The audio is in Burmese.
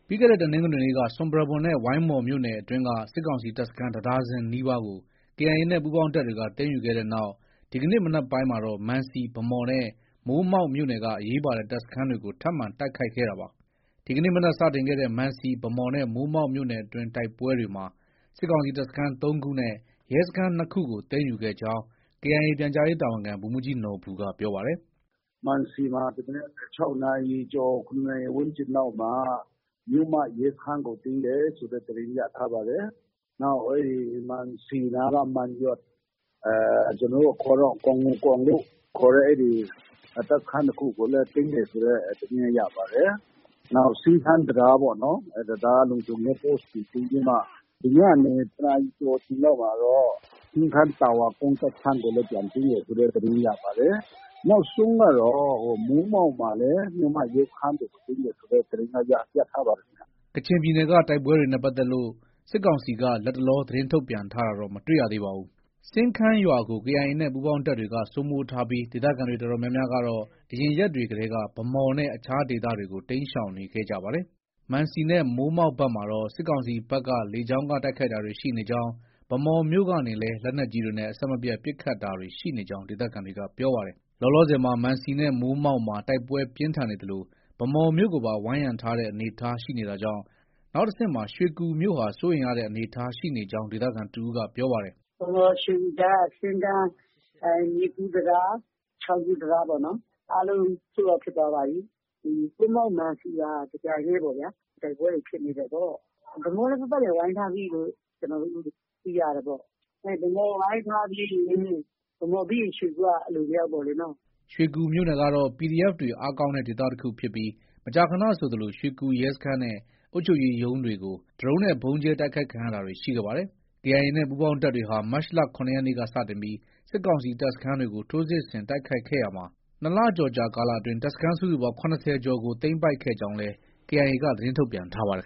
ပြီးခဲ့တဲ့ တနင်္ဂနွေနေ့က ဆွမ်ပရာဘွမ်နဲ့ ဝိုင်းမော်မြို့နယ်အတွင်းက စစ်ကောင်စီတပ်စခန်း တဒါဇင်နီးပါးကို KIA နဲ့ ပူးပေါင်းတပ်တွေက သိမ်းယူခဲ့တဲ့နောက် ဒီကနေ့မနက်ပိုင်းမှာတော့ မံစီ၊ ဗန်းမော်နဲ့ မိုးမောက်မြို့နယ်က အရေးပါတဲ့ တပ်စခန်းတွေကို ထပ်မံတိုက်ခိုက်ခဲ့တာပါ။ ဒီကနေ့ မနက်စတင်ခဲ့တဲ့ မံစီ၊ ဗန်းမော်နဲ့ မိုးမောက်မြို့နယ်တွင်းတိုက်ပွဲတွေမှာ စစ်ကောင်စီတပ်စခန်း ၃ခုနဲ့ ရဲစခန်း ၂ခုကို သိမ်းယူခဲ့ကြောင်း KIA ပြန်ကြားရေးတာဝန်ခံ ဗိုလ်မှုးကြီးနော်ဘူက ပြောပါတယ်။ “ မံစီမှာ ဒီမနက် ၆နာရီကျော် ၇နာရီ ဝန်းကျင်လောက်မှာ မြို့မ ရဲစခန်းကို သိမ်းတယ်ဆိုတဲ့ သတင်းရထား ပါတယ်။ နောက် မံစီနားက မံယွတ်၊ ကျနော်တို့ အခေါ်တော့ ဂေါ်ငူကောင်လို့ ခေါ်တဲ့ တပ်စခန်းတခုကိုလည်း သိမ်းတယ်ဆိုတဲ့ သတင်းရပါတယ်။ နောက် စင်းခန်းတံတားပေါ့နော်။ အဲဒီ တံတားလုံခြုံရေး Post ကို သိမ်းပြီးမှ ဒီညနေ တနာရီကျော်အချိန်လောက်မှာတော့ စင်းခန်းတာဝါကုန်း တပ်စခန်းကိုလည်း ပြန်သိမ်းတယ်ဆိုတဲ့ သတင်း ရပါတယ်။ နောက်ဆုံးကတော့ မိုးမောက်မှာလည်း မြို့မ ရဲစခန်းကို သိမ်းတယ်ဆိုတဲ့သတင်းတော့ ရထားပါတယ်ခင်ဗျ။ ” ကချင်ပြည်နယ်က တိုက်ပွဲတွေနဲ့ ပတ်သက်လို့ စစ်ကောင်စီက လတ်တလော သတင်းထုတ်ပြန်တာတော့ မတွေ့ရသေးပါဘူး။ စင်းခန်းရွာကို KIA နဲ့ ပူးပေါင်းတပ်တွေက စိုးမိုးထားပြီး ဒေသခံတွေအတော်များများ ကတော့ အရင်ရက်တွေကတည်းက ဗန်းမော်နဲ့ အခြားဒေသတွေကို တိမ်းရှောင်တာတွေ ရှိနေပါတယ်။ မံစီနဲ့ မိုးမောက်ဘက်မှာတော့ စစ်ကောင်စီဘက်က လေကြောင်းက တိုက်ခိုက်တာတွေ ရှိနေကြောင်း ၊ ဗန်းမော်မြို့ကနေလည်း လက်နက်ကြီးတွေနဲ့ အဆက်မပြတ် ပစ်ခတ်တာတွေရှိနေကြာင်း ဒေသခံတွေက ပြောပါတယ်။ လောလောဆယ်မှာ မံစီနဲ့ မိုးမောက်မှာ တိုက်ပွဲပြင်းထန်နေသလို ဗန်းမော်မြို့ကိုပါ ဝိုင်းရံထားတဲ့ အနေအထားရှိနေတာကြောင့် နောက်တဆင့်မှာ ရွှေကူမြို့ဟာ စိုးရိမ်ရတဲ့ အနေအထားရှိနေကြောင်း ဒေသခံတဦးက ပြောပါတယ်။ “ဗန်းမော်- ရွှေကူကြားက စင်းခန်း မြစ်ကူး တံတား၊ ချောင်းကူးတံတား အားလုံး Sold out ဖြစ်သွားပါပြီ။ မိုးမောက်၊ မံစီပါ တပြိုင်တည်းပေါ့ဗျာ။ တိုက်ပွဲတွေဖြစ်နေတယ်ပေါ့။ ဗန်းမော်လည်း ပတ်ပတ်လည် ဝိုင်းထားပြီလို့ ကျနော်တို့ သိရတယ်ပေါ့။ ဗန်းမော်ဝိုင်းထားပြီးရင် ၊ ဗန်းမော်ပြီးရင် ရွှေကူက အလိုလျောက် ပေ့ါလေနော။” ရွှေကူမြို့နယ်ကတော့ PDF တွေ အားကောင်းတဲ့ဒေသတခုဖြစ်ပြီး မကြာခဏဆိုသလို ရွှေကူရဲစခန်းနဲ့ အုပ်ချုပ်ရေးရုံးတွေကို ဒရုန်းနဲ့ ဗုံးကြဲတိုက်ခိုက်ခံရတာတွေ ရှိခဲ့ပါတယ်။ KIA နဲ့ ပူးပေါင်းတပ်တွေဟာ မတ်လ ၇ ရက်နေ့က စတင်ပြီး စစ်ကောင်စီတပ်စခန်းတွေကို ထိုးစစ်ဆင်တိုက်ခိုက်ခဲ့ရာမှာ ၂လကျော်ကာလအတွင်း တပ်စခန်းစုစုပေါင်း ၇၀ ကျော်ကို သိမ်းပိုက်ခဲ့ကြောင်းလည်း KIA က သတင်းထုတ်ပြန်ထားပါတယ်